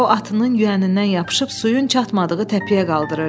O, atının yüyənindən yapışıb suyun çatmadığı təpəyə qaldırırdı.